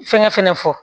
Fɛngɛ fɛnɛ fɔ